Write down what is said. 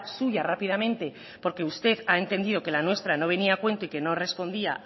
suya rápidamente porque usted ha entendido que la nuestra no venía a cuenta y que no respondía